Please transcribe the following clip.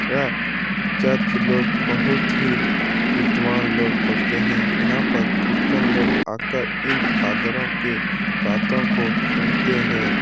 यह चर्च लोग बहुत ही विद्वान लोग होते हैं। यहाँ पर क्रिस्चयन लोग आकर इन फादरो के बातों को सुनते हैं।